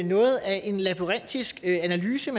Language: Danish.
noget af en labyrintisk analyse